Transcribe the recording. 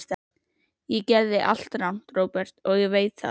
Ég gerði allt rangt, Róbert, og ég veit það.